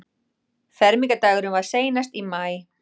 Fermingardagurinn var seinast í maí.